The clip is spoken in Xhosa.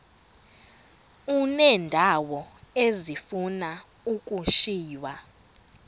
uneendawo ezifuna ukushiywa